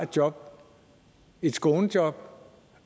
job et skånejob